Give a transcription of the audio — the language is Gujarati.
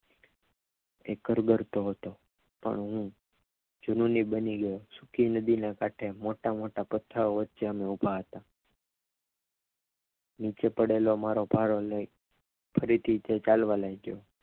એ કરગરતો હતો પણ હું જૂની બની ગયો સૂકી નદીના કાંઠે મોટા મોટા પથ્થરો વચ્ચે અમે ઉભા હતા નીચે પડેલો મારો ભારો લઈને એ ફરીથી ચલવા લાગ્યો